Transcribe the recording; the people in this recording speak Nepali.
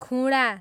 खुँडा